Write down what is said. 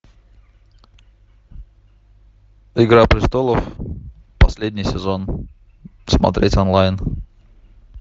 игра престолов последний сезон смотреть онлайн